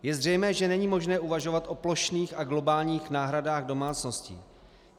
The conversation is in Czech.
Je zřejmé, že není možné uvažovat o plošných a globálních náhradách domácností.